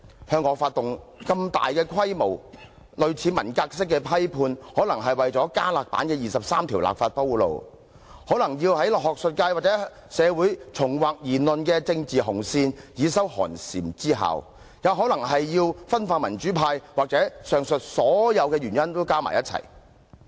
向我發動如此大規模、類近文革式的批判，可能是要為加辣版的《基本法》第二十三條立法鋪路；可能是要在學術界及香港社會重劃言論的政治紅線，以收寒蟬之效；也可能是要分化民主派；或者是上述所有原因加在一起。